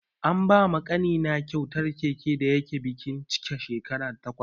An ba ma ƙanina kyautar keke da yake bikin cika shekara takwas.